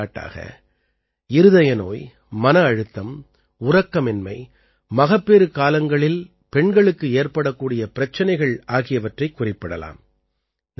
எடுத்துக்காட்டாக இருதய நோய் மன அழுத்தம் உறக்கமின்மை மகப்பேறுக் காலங்களில் பெண்களுக்கு ஏற்படக்கூடிய பிரச்சனைகள் ஆகியவற்றைக் குறிப்பிடலாம்